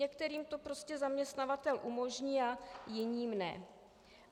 Některým to prostě zaměstnavatel umožní a jiným ne.